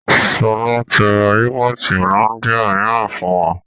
Sọlá tí ra yúgọ́ọ́tì Hollandia mìíràn fún wa